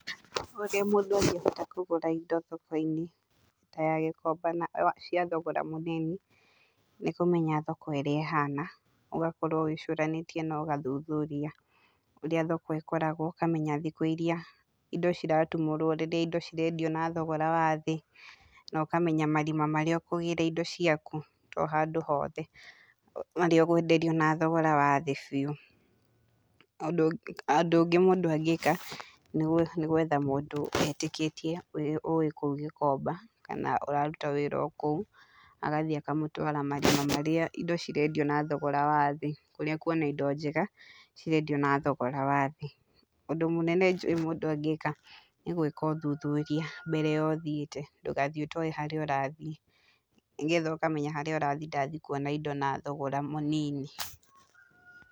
Ũrĩa mũndũ angĩhota kũgũra indo thoko-inĩ ta ya Gikomba na cia thogora mũnini, nĩ kũmenya thoko ũrĩa ĩhana, ũgakorwo wĩcũranĩtiĩ na ũgathuthuria kũrĩa thoko ĩkoragwo. Ũkamenya thikũ irĩa indo ciratumũrwo rĩrĩa indo cirendio na thogora wa thĩ, na ũkamenya marima marĩa ũkũgĩra indo ciaku, to handũ hothe. Harĩ ũgwenderio na thogora wa thĩ biũ. Ũndũ ũngũ ũndũ ũngĩ mũndũ angĩka, nĩ nĩ gwetha mũndũ etĩkĩtie, ũrĩa ũĩ kũu Gikomba, kana ũraruta wĩra o kũu, agathiĩ akamũtwara marima marĩa indo cirendio na thogora wa thĩ. Kũrĩa ekuona indo njega, cirendio na thogora wa thĩ. Ũndũ mũnene njũĩ mũndũ angĩka, nĩ gwĩka ũthuthuria mbere ya ũthiĩte, ndũgathiĩ ũtoĩ harĩa ũrathiĩ, nĩgetha ũkamenya harĩa ũrathi ndathi kuona indo na thogora mũnini.